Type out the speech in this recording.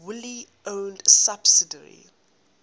wholly owned subsidiary